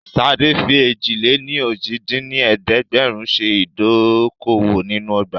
Ṣadé fi èjì-lé-ní-ojì dín ní ẹ̀ẹ́dẹ́gbẹ́rún ṣe ìdókòwò nínú ọgbà